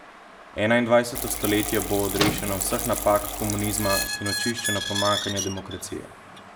Enaindvajseto stoletje bo odrešeno vseh napak komunizma in očiščeno pomanjkanja demokracije.